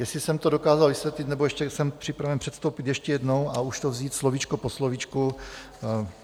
Jestli jsem to dokázal vysvětlit nebo ještě jsem připraven předstoupit ještě jednou a už to vzít slovíčko po slovíčku.